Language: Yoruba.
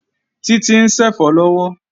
Títí ń ṣẹ̀fọ́ lọ́wọ́